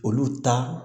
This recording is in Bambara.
Olu ta